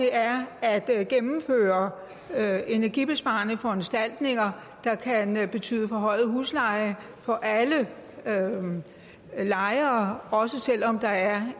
er at at gennemføre energibesparende foranstaltninger der kan betyde forhøjet husleje for alle lejere også selv om der er